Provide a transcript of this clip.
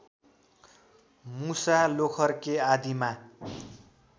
मुसा लोखर्के आदिमा